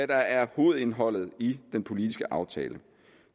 der er hovedindholdet i den politiske aftale